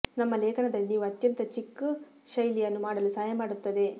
ನಮ್ಮ ಲೇಖನದಲ್ಲಿ ನೀವು ಅತ್ಯಂತ ಚಿಕ್ ಶೈಲಿಯನ್ನು ಮಾಡಲು ಸಹಾಯ ಮಾಡುತ್ತದೆ